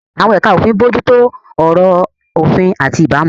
Àwọn ẹ̀ka òfin ń bójú tó ọ̀rọ̀ òfin àti ìbámu.